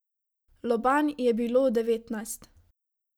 Lobanj je bilo devetnajst.